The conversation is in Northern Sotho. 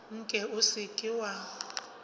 nke o se ke wa